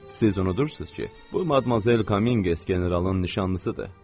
Siz unudursunuz ki, bu Madmazel Kamiy generalın nişanlısıdır.